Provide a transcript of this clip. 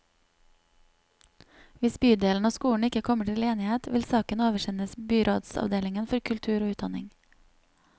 Hvis bydelen og skolen ikke kommer til enighet, vil saken oversendes byrådsavdelingen for kultur og utdanning.